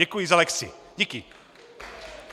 Děkuji za lekci. Díky.